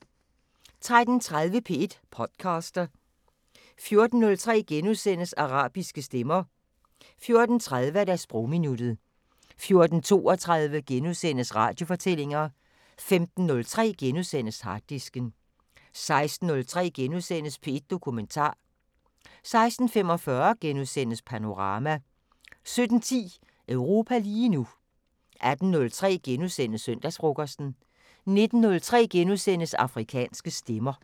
13:30: P1 podcaster 14:03: Arabiske stemmer * 14:30: Sprogminuttet 14:32: Radiofortællinger * 15:03: Harddisken * 16:03: P1 Dokumentar * 16:45: Panorama * 17:10: Europa lige nu 18:03: Søndagsfrokosten * 19:03: Afrikanske Stemmer *